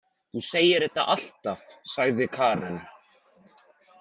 Þú segir þetta alltaf, sagði Karen.